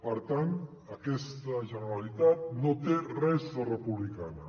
per tant aquesta generalitat no té res de republicana